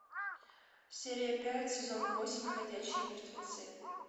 серия пять сезон восемь ходячие мертвецы